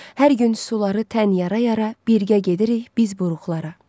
Hər gün suları tən yara-yara, birgə gedirik biz buruqlara.